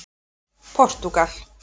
Portúgal